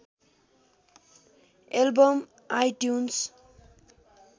album iTunes